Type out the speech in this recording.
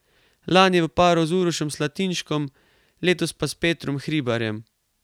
Lani v paru z Urošem Slatinškom, letos pa s Petrom Hribarjem.